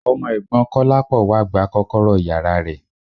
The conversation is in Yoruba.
Ọmọ ẹ̀gbọ́ Kọ́lápọ̀ wá gba kọ́kọ́rọ́ yàrá rẹ̀.